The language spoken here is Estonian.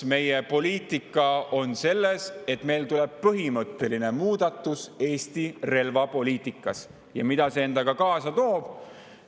Kas tuleb põhimõtteline muudatus Eesti relvapoliitikas ja mida see endaga kaasa toob?